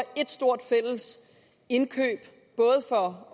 ét stort fælles indkøb for